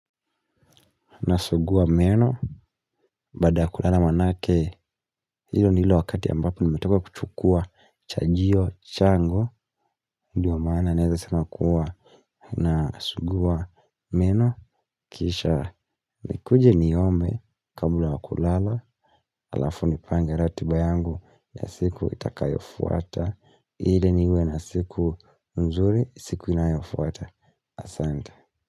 Nasugua meno. Baada ya kulala manake. Hilo nilo wakati ambapo nimetoka kuchukua chajio, changu. Ndiyo maana naeza sema kuwa na sugua meno. Kisha nikuje niome. Kabla ya kulala halafu nipange ratiba yangu ya siku itakayofuata. Ili niwe na siku nzuri siku inayofuata. Asante.